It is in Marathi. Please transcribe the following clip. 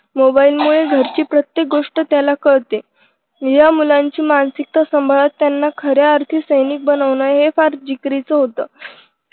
मोबाईलमुळे घरची प्रत्येक गोष्ट त्याला कळते. या मुलांची मानसिकता सांभाळत त्यांना खऱ्या अर्थी सैनिक बनवणं हे फार जिगरीचं होत.